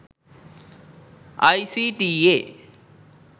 icta